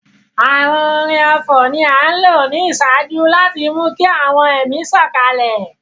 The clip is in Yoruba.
Àwọn orin ọfọ̀ ni a nlo ni iṣaaju láti mú ki àwọn ẹmi sòkalẹ̀